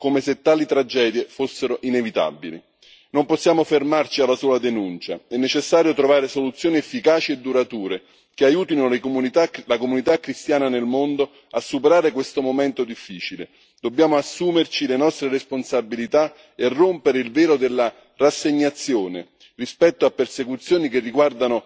Non possiamo fermarci alla sola denuncia, è necessario trovare soluzioni efficaci e durature che aiutino la comunità cristiana nel mondo a superare questo momento difficile. Dobbiamo assumerci le nostre responsabilità e rompere il velo della rassegnazione rispetto a persecuzioni che riguardano tutti noi, come europei prima ancora che come cittadini.